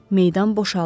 Meydan boşaldı.